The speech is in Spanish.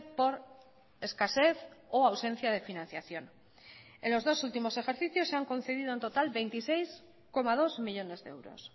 por escasez o ausencia de financiación en los dos últimos ejercicios se han concedido en total veintiséis coma dos millónes de euros